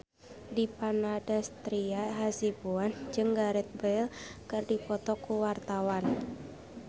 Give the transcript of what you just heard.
Dipa Nandastyra Hasibuan jeung Gareth Bale keur dipoto ku wartawan